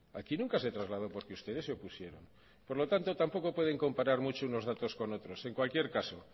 aquí nunca se trasladó porque ustedes se opusieron por lo tanto tampoco pueden comparar mucho unos datos con otros en cualquier caso